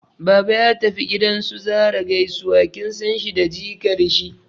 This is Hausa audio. Baba ya tafi gidan su Zarah gaisuwa, kin san shi da jikar shi